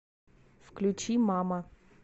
включи мама